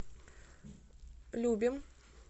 любим